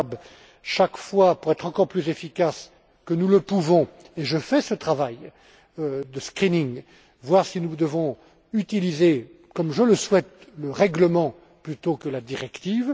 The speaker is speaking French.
M. Schwab, chaque fois, pour être encore plus efficace, que nous le pouvons, et je fais ce travail de screening voir si nous devons utiliser, comme je le souhaite, le règlement plutôt que la directive.